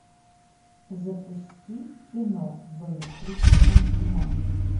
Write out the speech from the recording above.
запусти кино в электрическом тумане